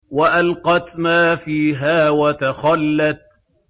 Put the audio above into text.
وَأَلْقَتْ مَا فِيهَا وَتَخَلَّتْ